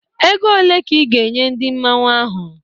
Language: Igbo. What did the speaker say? Ego ole ka ị ga-enye ndị Mmanwu ahụ?